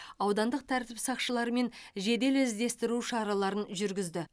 аудандық тәртіп сақшыларымен жедел іздестіру шараларын жүргізді